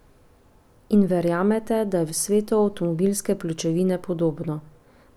In verjamete, da je v svetu avtomobilske pločevine podobno?